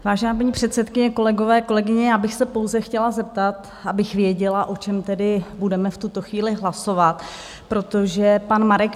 Vážená paní předsedkyně, kolegové, kolegyně, já bych se pouze chtěla zeptat, abych věděla, o čem tedy budeme v tuto chvíli hlasovat, protože pan Marek